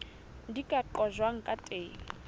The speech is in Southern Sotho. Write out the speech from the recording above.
di ka qojwang ka teng